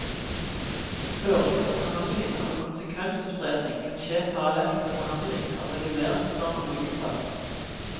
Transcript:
Høringen og behandlingen av en konsekvensutredning kan skje parallelt med behandling av reguleringsplan og byggesak.